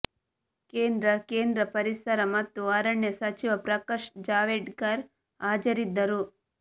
ಕೇಂದ್ರ ಕೇಂದ್ರ ಪರಿಸರ ಮತ್ತು ಅರಣ್ಯ ಸಚಿವ ಪ್ರಕಾಶ್ ಜಾವ್ಡೇಕರ್ ಹಾಜರಿದ್ದರು